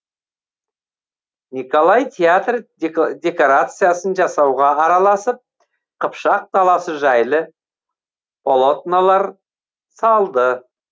николай театр декорациясын жасауға араласып қыпшақ даласы жайлы полотнолар салды